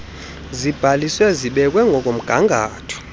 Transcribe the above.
zibhaliswe zibekwe ngokomgangatho